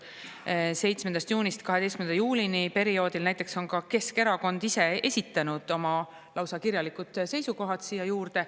Perioodil 7. juunist 12. juulini näiteks esitas Keskerakond ise lausa kirjalikud seisukohad siia juurde.